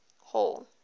hall